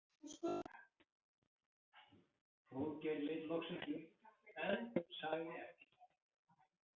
Hróðgeir leit loksins upp en sagði ekkert.